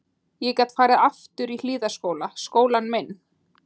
Ég gat farið aftur í Hlíðaskóla, skólann minn.